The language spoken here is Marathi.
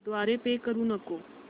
द्वारे पे करू नको